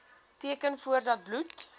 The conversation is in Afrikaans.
teken voordat bloed